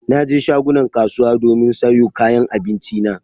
Na je shagunan kasuwa domin sayo kayan abinci na.